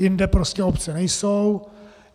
Jinde prostě obce nejsou.